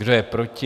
Kdo je proti?